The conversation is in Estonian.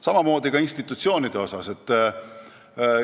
Samamoodi on räägitud ka institutsioonidest.